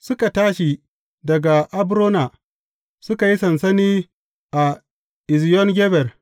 Suka tashi daga Abrona, suka yi sansani a Eziyon Geber.